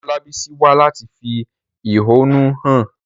Ìyá Olabisi wá láti fi ẹ̀hónú hàn.